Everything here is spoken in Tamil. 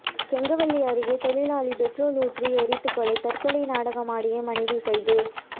கெங்கவல்லி அருகே தொழிலாளி பெட்ரோல் ஊற்றி எரித்து கொலை தற்கொலை நாடகமாடிய மனைவி கைது